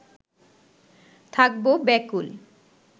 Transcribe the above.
থাকবো ব্যাকুল